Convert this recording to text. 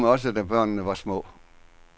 Vi havde dem også, da børnene var små.